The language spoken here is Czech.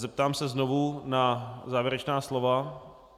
Zeptám se znovu na závěrečná slova.